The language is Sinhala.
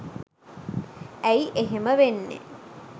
ඇයි එහෙම වෙන්නේ